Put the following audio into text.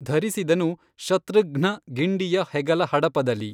ಧರಿಸಿದನು ಶತೃಘ್ನ ಗಿಂಡಿಯ ಹೆಗಲ ಹಡಪದಲಿ